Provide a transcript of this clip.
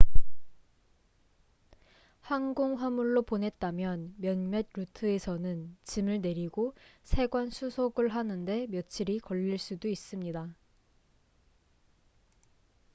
항공 화물로 보냈다면 몇몇 루트에서는 짐을 내리고 세관 수속을 하는 데 며칠이 걸릴 수도 있습니다